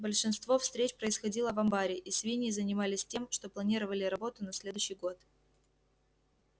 большинство встреч происходило в амбаре и свиньи занимались тем что планировали работу на следующий год